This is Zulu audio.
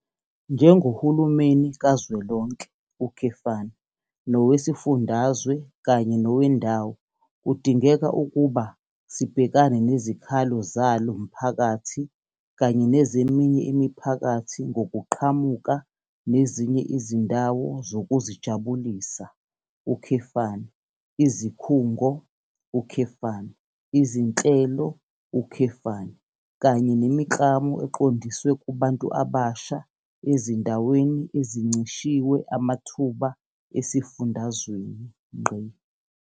Njengohulumeni kazwelonke, nowesifundazwe kanye nowendawo kudingeka ukuba sibhekane nezikhalo zalo mphakathi kanye nezeminye imiphakathi ngokuqhamuka nezinye izindawo zokuzijabulisa, izikhungo, izinhlelo, kanye nemiklamo eqondiswe kubantu abasha ezindaweni ezincishwe amathuba esifundazweni.